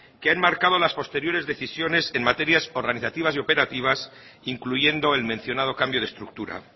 que ha enmarcado las posteriores decisiones en materias organizativas y operativas incluyendo el mencionado cambio de estructura